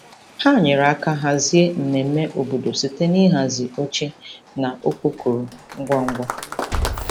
Ha nyere aka hazie mmemme obodo site n'ịhazi oche na okpokoro ngwa ngwa.